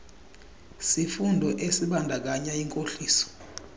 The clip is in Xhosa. sifundo esibandakanya inkohliso